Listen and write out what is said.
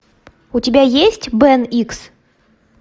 у тебя есть бен икс